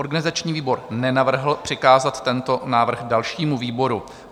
Organizační výbor nenavrhl přikázat tento návrh dalšímu výboru.